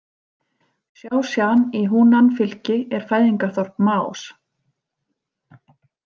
Sjásjan í Húnan- fylki er fæðingarþorp Maós.